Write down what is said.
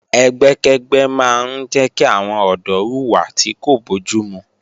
Ẹgbẹ́kẹ́gbẹ́ máa ń jẹ́ kí àwọn ọ̀dọ́ hùwà tí kò bójúmu